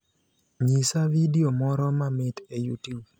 nyisa vidio moro mamit e youtube